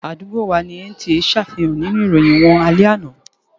Àdúgbò wà ní NTA ṣàfihàn nínú ìròyìn wọn alẹ́ àná.